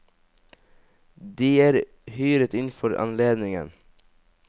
De er hyret inn for anledningen.